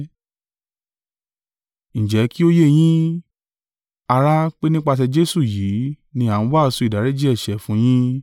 “Ǹjẹ́ kí ó yé yín, ará pé nípasẹ̀ Jesu yìí ni a ń wàásù ìdáríjì ẹ̀ṣẹ̀ fún yín.